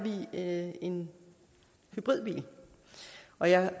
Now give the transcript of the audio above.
jeg en hybridbil og jeg